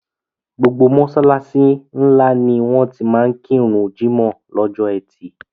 Gbogbo mọ́ṣáláṣí ńlá ni wọ́n máa ti kíru jímọ̀ lọ́jọ ẹtì.